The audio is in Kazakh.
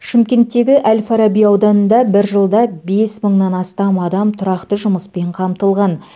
шымкенттегі әл фараби ауданында бір жылда бес мыңнан астам адам тұрақты жұмыспен қамтылған